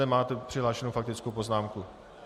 Nemáte přihlášenu faktickou poznámku.